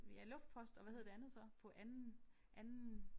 Ja luftpost og hvad hed det andet så? På anden anden